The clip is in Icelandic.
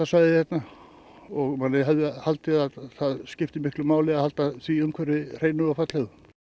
Vatnsendasvæðið hérna og maður hefði haldið að það skipti máli að halda því umhverfi hreinu og fallegu